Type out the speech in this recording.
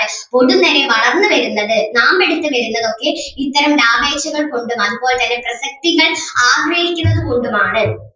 പൊടുന്നനെ വളർന്ന് വരുന്നത് നാമ്പെടുത്ത് വരുന്നത് ഒക്കെ ഇത്തരം ലാഭേച്ഛകൾ കൊണ്ടും അതുപോലെ തന്നെ പ്രശസ്‌തികൾ ആഗ്രഹിക്കുന്നതുകൊണ്ടും ആണ്.